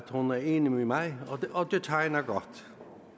hun er enig med mig og det tegner godt